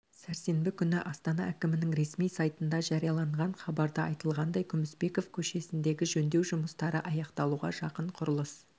сәрсенбі күні астана әкімінің ресми сайтында жарияланған хабарда айтылғандай күмісбеков көшесіндегі жөндеу жұмыстары аяқталуға жақын құрылыс